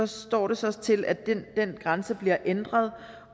står det så til at den grænse bliver ændret